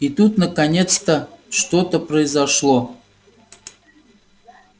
и тут наконец-то что-то произошло